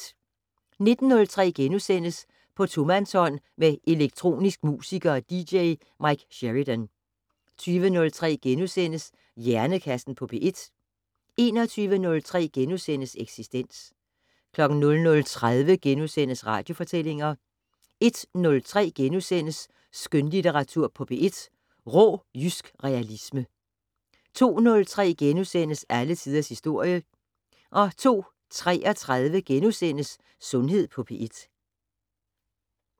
19:03: På tomandshånd med elektronisk musiker og dj Mike Sheridan * 20:03: Hjernekassen på P1 * 21:03: Eksistens * 00:30: Radiofortællinger * 01:03: Skønlitteratur på P1: Rå jysk realisme * 02:03: Alle tiders historie * 02:33: Sundhed på P1 *